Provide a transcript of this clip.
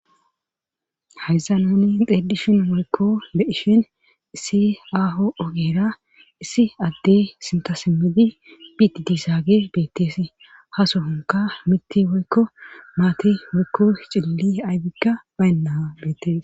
haysan nuni xeedishun weykko de ishin issi aaho ogera issi adde sintasimmedi biti dizaage beettees ha sohonka mitti woykko maati woykko cilli aybika baynna beettees